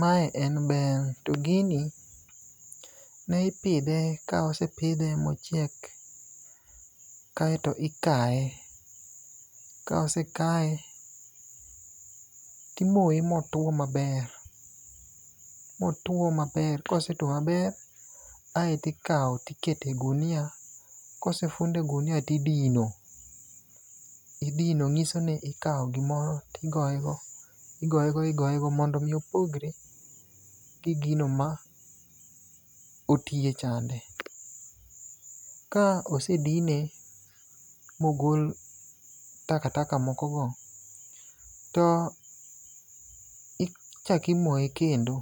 Mae en bel, to gini ne ipidhe ka osepidhe mochiek kaeto ikaye. Ka osekaye, timoye motuwo maber ,motuwo maber, kosetuwo maber aeto ikawo tiketo e gunia. Kosefund e gunia tidino idino ng'isoni ikawo gimoro tigoye yo. Igoyego igoyego mondo omi opogre gi gino ma otiye chande. Ka osedine mogol takataka mokogo, to ichako imoye kendo.